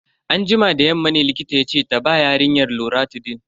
Anjima da yamma ne likita yace ta ba yarinyar loratidine.